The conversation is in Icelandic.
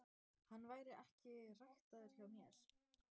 Hann væri ekki ræktaður hjá mér.